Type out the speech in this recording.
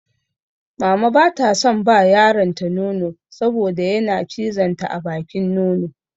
Mama ba ta son ba yaronta nono saboda yana cizon ta a bakin nono.